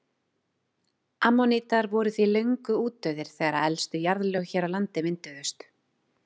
Ammonítar voru því löngu útdauðir þegar elstu jarðlög hér á landi mynduðust.